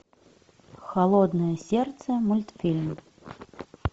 холодное сердце мультфильм